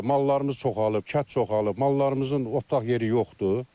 Mallarımız çoxalır, kət çoxalır, mallarımızın otlaq yeri yoxdur.